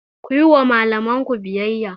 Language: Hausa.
Ku yi wa malamanku biyayya!